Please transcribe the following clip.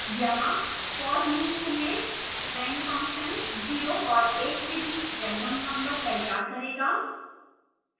यहाँ for loop में rand function 0 और 1 के बीच random number तैयार करेगा